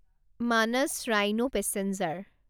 Manas rhino passenger